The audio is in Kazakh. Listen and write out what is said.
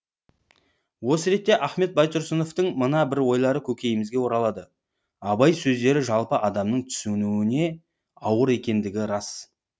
осы ретте ахмет байтұрсыновтың мына бір ойлары көкейімізге оралады абай сөздері жалпы адамның түсінуіне ауыр екендігі рас